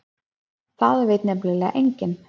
Það veit nefnilega enginn.